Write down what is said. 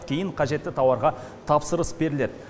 кейін қажетті тауарға тапсырыс беріледі